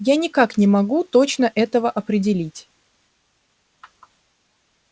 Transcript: я никак не могу точно этого определить